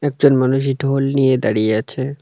একজন মানুষ এই ঢোল নিয়ে দাঁড়িয়ে আছে।